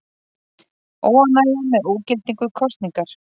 Óánægja með ógildingu kosningar